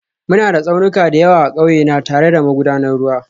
Muna da tsaunuka da yawa a ƙauye na, tare da magudanan ruwa